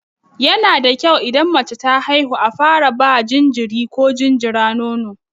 Yana da kyau idan mace ta haihu a fara ba jinjiri ko jinjira nono.